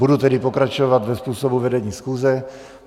Budu tedy pokračovat dle způsobu vedení schůze.